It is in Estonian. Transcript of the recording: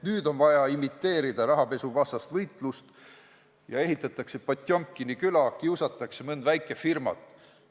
Nüüd aga on vaja imiteerida rahapesuvastast võitlust ja ehitatakse Potjomkini küla, kiusatakse mõnd väikefirmat.